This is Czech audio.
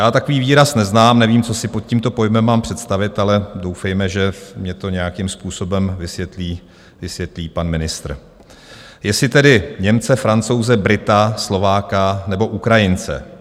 Já takový výraz neznám, nevím, co si pod tímto pojmem mám představit, ale doufejme, že mně to nějakým způsobem vysvětlí pan ministr, jestli tedy Němce, Francouze, Brita, Slováka nebo Ukrajince.